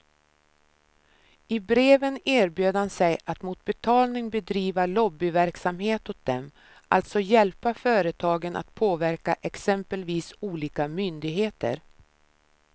I breven erbjöd han sig att mot betalning bedriva lobbyverksamhet åt dem, alltså hjälpa företagen att påverka exempelvis olika myndigheter.